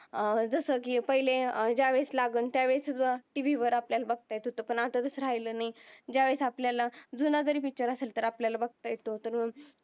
जस कि पहिले ज्या वेळ लागून त्या वेळ टी. वी आपल्या बगत येत हूत अत्ता तस राहील नाही. ज्या वेळ आपल्याला जून जरी पिक्चर असेल तर आपल्यला बगत येत होती